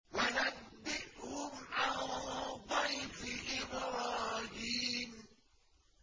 وَنَبِّئْهُمْ عَن ضَيْفِ إِبْرَاهِيمَ